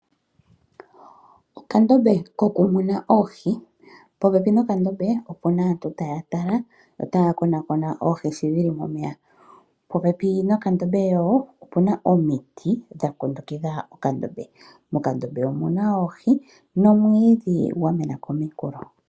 Okandombe kokumuna oohi. Popepi nokandombe ope na aantu taya tala yo taakonakona oohi sho dhili momeya. Popepi nokandombe yo ope na omiti dha kundukidha okandombe. Mokandombe omu na oohi nomwiidhi gwamena kominkulo.